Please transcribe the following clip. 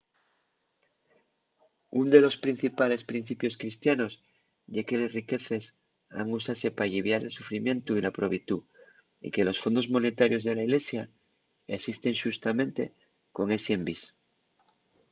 ún de los principales principios cristianos ye que les riqueces han usase p’alliviar el sufrimientu y la probitú y que los fondos monetarios de la ilesia esisten xustamente con esi envís